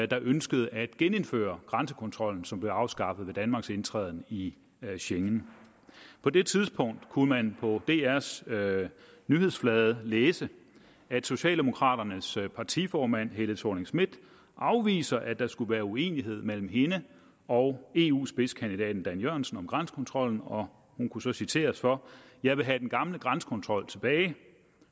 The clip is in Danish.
der ønskede at genindføre grænsekontrollen som blev afskaffet ved danmarks indtræden i schengen på det tidspunkt kunne man på drs nyhedsflade læse at socialdemokraternes partiformand fru helle thorning schmidt afviser at der skulle være uenighed mellem hende og eu spidskandidaten dan jørgensen om grænsekontrollen og hun kunne så citeres for jeg vil have den gamle grænsekontrol tilbage